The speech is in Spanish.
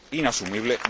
Es inasumible.